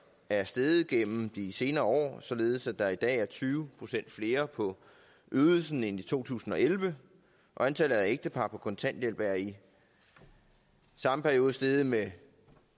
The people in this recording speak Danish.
er steget gennem de senere år således at der i dag er tyve procent flere på ydelsen end i to tusind og elleve og antallet af ægtepar på kontanthjælp er i samme periode steget med